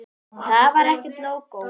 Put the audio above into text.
En þar var ekkert lógó.